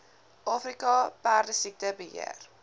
afrika perdesiekte beheer